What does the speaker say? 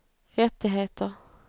rättigheter